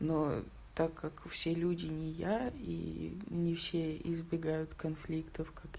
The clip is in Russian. но так как все люди не я и не все избегают конфликтов как